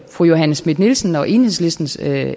fru johanne schmidt nielsen og enhedslistens